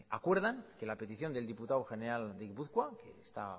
acuerdan que la petición del diputado general de gipuzkoa que está